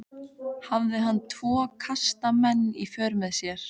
Hafði hann tvo karska menn í för með sér.